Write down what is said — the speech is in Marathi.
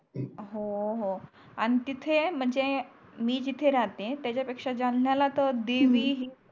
हो हो आणि तिथे म्हणजे मी जिथे राहते त्याच्या पेक्षा जालन्याला तर देवी हम्म